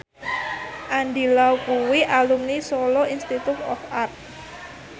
Andy Lau kuwi alumni Solo Institute of Art